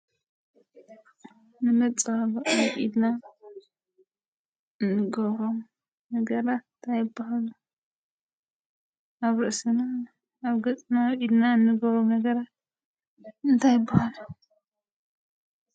ንመፀባበቂ ኢልና እንገብሮም ነገራት እንታይ ይበሃሉ? ኣብ ርእስና፣ ኣብ ገፅና፣ ኣብ ኢድና እንገብሮም ነገራት እንታይ ይበሃሉ?